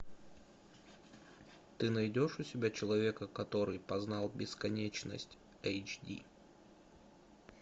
ты найдешь у себя человека который познал бесконечность эйч ди